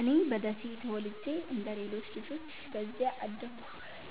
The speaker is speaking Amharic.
እኔ በደሴ ተወልጄ እንደ ሌሎች ልጆች በዚያ አደግኩ።